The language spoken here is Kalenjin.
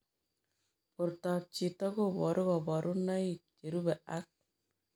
Portoop chitoo kobaruu kabarunaik cherubei ak